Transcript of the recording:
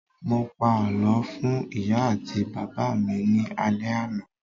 Mo pa àlọ́ fún ìyá àti bàbá mi ní alẹ àná.